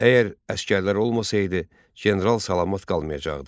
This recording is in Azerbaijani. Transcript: Əgər əsgərlər olmasaydı, general salamat qalmayacaqdı.